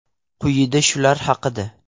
Quyida shular haqida.